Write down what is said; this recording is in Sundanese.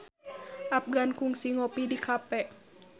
Afgan kungsi ngopi di cafe